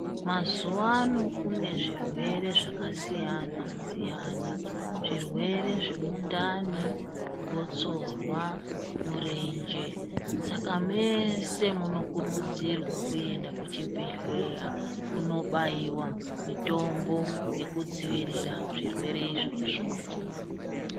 Mazuwano kune zvirwere zvakasiyana siyana zvirwere zvemundani, gotsorwa, murenje saka mese munokurudzirwa kuenda kuchibhedhleya kunobaiwa mutombo yekudzivirira zvirwere izvozvo.